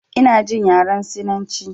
Ina jin yaren sinanci